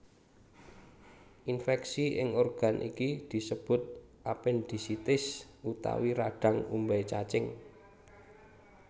Infèksi ing organ iki disebut apendisitis utawa radhang umbai cacing